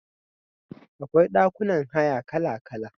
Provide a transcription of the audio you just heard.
Akwai ɗakunan haya kala-kala.